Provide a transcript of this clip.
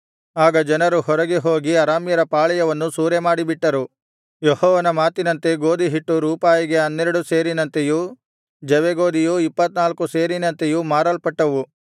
ಆಗ ಜನರು ಹೊರಗೆ ಹೋಗಿ ಅರಾಮ್ಯರ ಪಾಳೆಯವನ್ನು ಸೂರೆಮಾಡಿಬಿಟ್ಟರು ಯೆಹೋವನ ಮಾತಿನಂತೆ ಗೋದಿಹಿಟ್ಟು ರೂಪಾಯಿಗೆ ಹನ್ನೆರಡು ಸೇರಿನಂತೆಯೂ ಜವೆಗೋದಿಯು ಇಪ್ಪತ್ತನಾಲ್ಕು ಸೇರಿನಂತೆಯೂ ಮಾರಲ್ಪಟ್ಟವು